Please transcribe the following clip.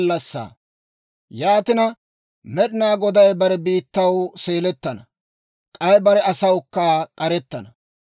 Yaatina, Med'inaa Goday bare biittaw seelettana; k'ay bare asawukka k'arettana.